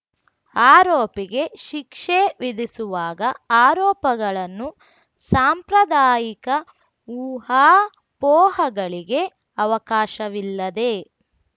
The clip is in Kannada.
ಆರೋಪಿಗೆ ಶಿಕ್ಷೆ ವಿಧಿಸುವಾಗ ಆರೋಪಗಳನ್ನು ಸಾಂಪ್ರದಾಯಿಕ ಊಹಾಪೋಹಗಳಿಗೆ ಅವಕಾಶವಿಲ್ಲದೆ